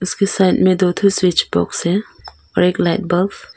इस साइड में दो स्विच बॉक्स है और एक लाइट बॉक्स ।